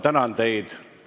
Istungi lõpp kell 15.07.